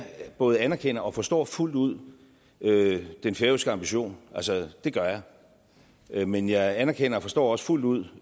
både anerkender og forstår fuldt ud den færøske ambition det gør jeg men jeg anerkender og forstår også fuldt ud